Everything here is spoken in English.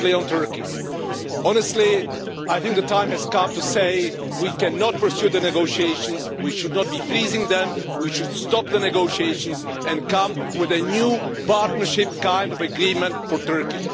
Secondly, on Turkey honestly I think the time has come to say we cannot pursue the negotiations we should not be freezing them, we should stop the negotiations and come with a new partnership kind of agreement for Turkey.